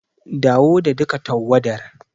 Dawo da duka tawwadar.